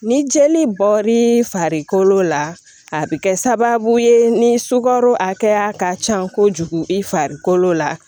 Ni jeli bɔr'i farikolo la a bɛ kɛ sababu ye ni sukaro hakɛya ka ca kojugu i farikolo la